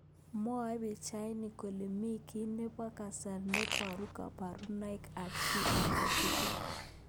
Mwae pichainik kole mi ki nebo kasari neborye kaborunet ab ki age tugul.